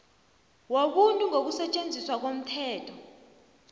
wobuntu ngokusetjenziswa komthetho